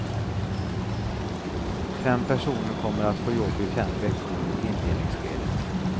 Fem personer kommer att få jobb i fem veckor i inledningsskedet.